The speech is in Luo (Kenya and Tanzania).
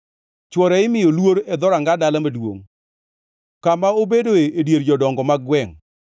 Chwore imiyo luor e dhoranga dala maduongʼ, kama obedoe e dier jodongo mag gwengʼ.